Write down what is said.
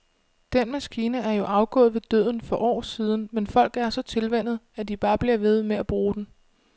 Den maskine er jo afgået ved døden for år siden, men folk er så tilvænnet, at de bare bliver ved med at bruge den.